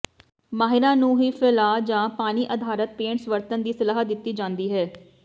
ਮਾਹਿਰਾਂ ਨੂੰ ਵੀ ਫੈਲਾਅ ਜਾਂ ਪਾਣੀ ਅਧਾਰਤ ਪੇਂਟਸ ਵਰਤਣ ਦੀ ਸਲਾਹ ਦਿੱਤੀ ਜਾਂਦੀ ਹੈ